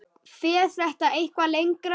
Fer þetta eitthvað lengra?